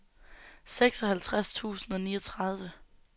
seksoghalvtreds tusind og niogtredive